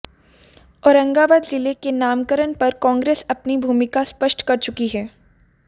औरंगाबाद जिले के नामकरण पर कांग्रेस अपनी भूमिका स्पष्ट कर चुकी है